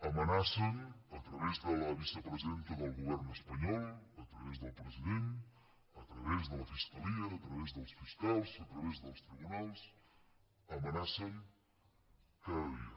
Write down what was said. amenacen a través de la vicepresidenta del govern espanyol a través del president a través de la fiscalia a través dels fiscals a través dels tribunals amenacen cada dia